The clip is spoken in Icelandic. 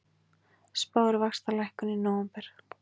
Spáir vaxtalækkun í nóvember